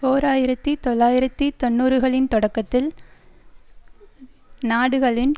ஓர் ஆயிரத்தி தொள்ளாயிரத்தி தொன்னூறுகளின் தொடக்கத்தில் நாடுகளின்